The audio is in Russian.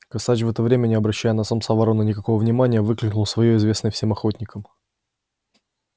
косач в это время не обращая на самца вороны никакого внимания выкликнул своё известное всем охотникам